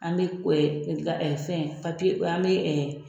An bɛ fɛn papiye an bɛ